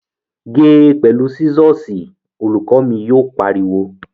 Ge pẹ̀lú sísọ̀sì! Olùkọ́ mi yóò pariwo